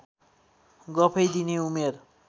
गफै दिने उमेर